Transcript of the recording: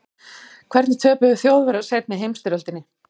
hvernig töpuðu þjóðverjar seinni heimsstyrjöldinni